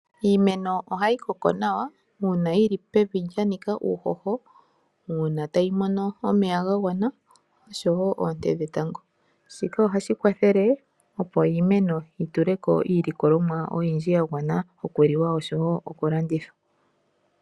Iimeno ohayi koko nawa uuna yili pevi lyanika uuhoho, uuna tayi mono omeya ga gwana, oshowo oonte dhetango. Shika ohashi kwathele opo iimeno yi tuleko iilikolomwa oyindji yagwana okuliwa oshowo oku landithwa.